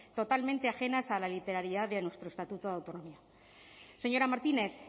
totalmente ajenas a la literalidad de nuestro estatuto de autonomía señora martínez